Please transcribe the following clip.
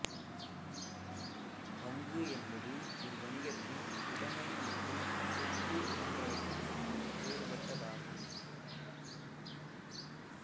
பங்கு என்பது ஒரு வணிகத்தின் உடமை மற்றும் சொத்து போன்றவற்றிலிருந்து வேறுபட்டதாகும்